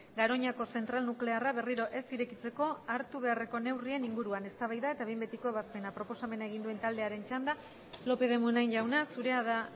garoñako zentral nuklearra berriro ez irekitzeko hartu beharreko neurrien inguruan eztabaida eta behin betiko ebazpena proposamena egin duen taldearen txanda lópez de munain jauna zurea da